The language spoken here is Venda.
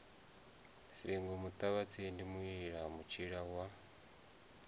singo muṱavhatsindi muila mutshila wa